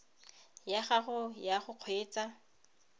ya gago ya go kgweetsa